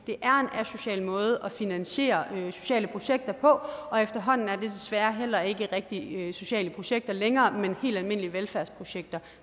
er en asocial måde at finansiere sociale projekter på og efterhånden er det desværre heller ikke rigtige sociale projekter længere men helt almindelige velfærdsprojekter